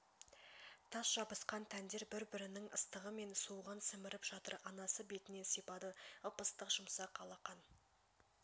тас жабысқан тәндер бір-бірінң ыстығы мен суығын сіміріп жатыр анасы бетінен сипады ып-ыстық жұп-жұмсақ алақан